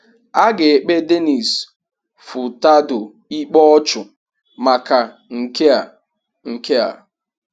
A ga-èkpé Denis Furtado ikpe ọ̀chụ̀ maka nke a. nke a.